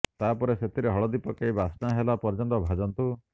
ତାପରେ ସେଥିରେ ହଳଦୀ ପକାଇ ବାସ୍ନା ହେଲା ପର୍ଯ୍ୟନ୍ତ ଭାଜନ୍ତୁ